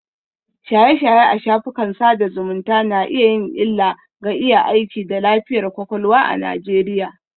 Shaye-shaye a shafukan sada zumunta na iya yin illa ga iya aiki da lafiyar kwakwalwa a Najeriya